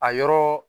A yɔrɔ